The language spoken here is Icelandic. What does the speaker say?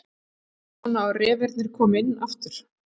Áttu von á að refirnir komi inn aftur?